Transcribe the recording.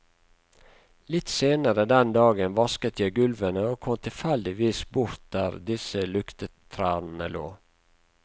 Litt senere den dagen vasket jeg gulvene og kom tilfeldigvis bort der disse luktetrærne lå.